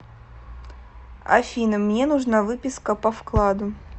афина мне нужна выписка по вкладу